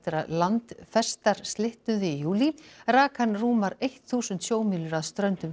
að landfestar slitnuðu í júlí rak hann rúmar eitt þúsund sjómílur að ströndum